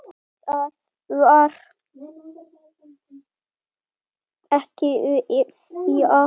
Það var Kveðja.